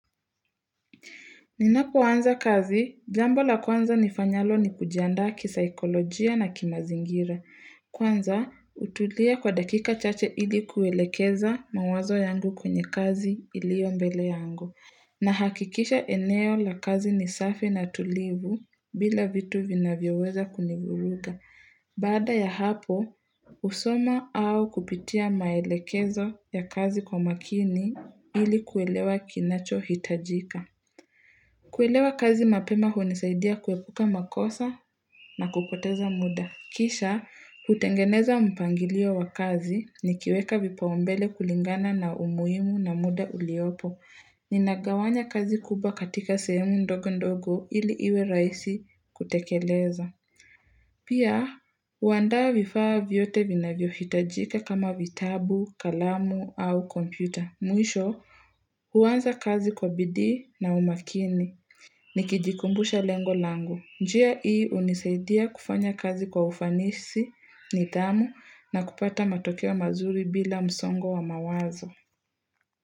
Ninapoanza kazi, jambo la kwanza nifanyalo ni kujiandaa kisaikolojia na kimazingira. Kwanza, hutulia kwa dakika chache ili kuelekeza mawazo yangu kwenye kazi iliyo mbele yangu. Nahakikisha eneo la kazi ni safi na tulivu bila vitu vinavyoweza kunivuruga. Baada ya hapo, husoma au kupitia maelekezo ya kazi kwa makini ili kuelewa kinachohitajika. Kuelewa kazi mapema hunisaidia kuepuka makosa na kupoteza muda. Kisha, hutengeneza mpangilio wa kazi nikiweka vipaumbele kulingana na umuhimu na muda uliopo. Ninagawanya kazi kubwa katika sehemu ndogo ndogo ili iwe rahisi kutekeleza. Pia, huandaa vifaa vyote vinavyohitajika kama vitabu, kalamu au kompyuta. Mwisho, huanza kazi kwa bidii na umakini. Nikijikumbusha lengo langu. Njia hii hunisaidia kufanya kazi kwa ufanisi, nidhamu na kupata matokeo mazuri bila msongo wa mawazo.